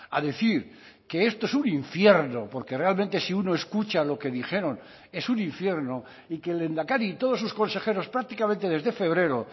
a decir que esto es un infierno porque realmente si uno escucha lo que dijeron es un infierno y que el lehendakari y todos sus consejeros prácticamente desde febrero